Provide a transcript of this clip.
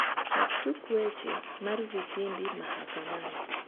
chak tuk weche mar vitimbi mahakamani